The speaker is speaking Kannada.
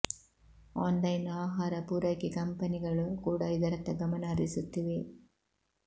ಆನ್ ಲೈನ್ ಆಹಾರ ಪೂರೈಕೆ ಕಂಪನಿಗಳು ಕೂಡ ಇದರತ್ತ ಗಮನ ಹರಿಸುತ್ತಿವೆ